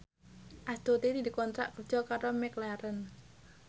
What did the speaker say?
Astuti dikontrak kerja karo McLaren